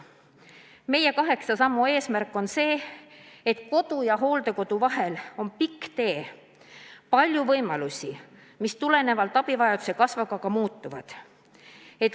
Meie kaheksa sammu eesmärk on see, et kodu ja hooldekodu vahel oleks pikk tee, oleks palju võimalusi, mis tulenevalt abivajaduse kasvust ka muutuvad.